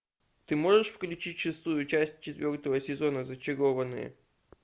ты можешь включить шестую часть четвертого сезона зачарованные